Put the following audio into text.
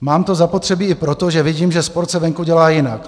Mám to zapotřebí i proto, že vidím, že sport se venku dělá jinak.